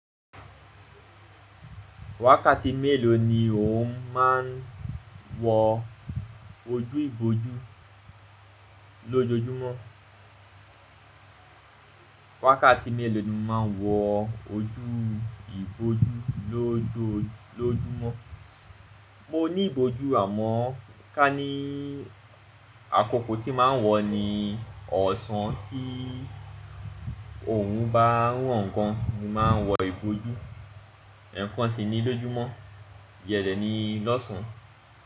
Wákàtí mélòó ni o máa ń wọ ojú ìbòjú lójojúmọ́? Wákàtí mélòó ni mo ma ń wọ ojú ìbòjú lójojúmọ́? Mo ní ìbòjú àmọ́ ká ní àkókò tí màá ń wọ ni ọ̀sán. Tí òrun bá rán gan ni màá ń wọ ìbòjú, ẹ̀kan sì ni lójúmọ́, ìyẹn dẹ̀ ni lọ́sàn án.